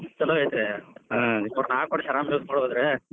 ಛಲೋ ಐತ್ರೀ ಹ್ಮ್‌ ಮೂರ್ನಾಲ್ಕ್ ವರ್ಷ್ ಆರಾಮ್ use ಮಾಡಬೋದ್ರಿ.